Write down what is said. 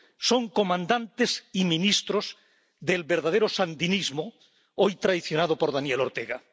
Son comandantes y ministros del verdadero sandinismo, hoy traicionado por Daniel Ortega